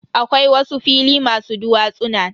Akwai wasu fili masu duwatsuna.